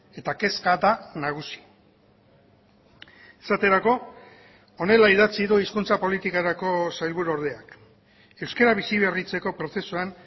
eta kezka da nagusi esaterako honela idatzi du hizkuntza politikarako sailburuordeak euskara biziberritzeko prozesuan